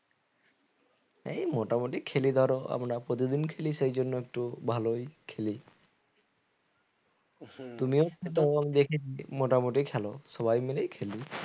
এই মোটামুটি খেলি ধরো আমরা প্রতিদিন খেলি সেজন্য একটু ভালোই খেলি তুমিও তো দেখেছি মোটামুটি খেলো সবাই মিলেই খেলি